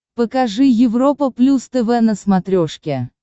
покажи европа плюс тв на смотрешке